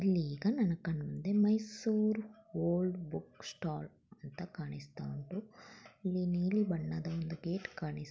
ಈಗ ನನ್ನ ಕಣ್ಣು ಮುಂದೆ ಮೈಸೂರು ಓಲ್ಡ್ ಬುಕ್ ಸ್ಟಾಲ್ ಅಂತ ಕಾಣಿಸ್ತಾ ಉಂಟು ನೀಲಿ ಬಣ್ಣದ ಒಂದು ಗೇಟ್ ಕಾಣಿಸ.